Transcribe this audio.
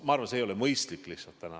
Ma arvan, et see ei ole täna lihtsalt mõistlik.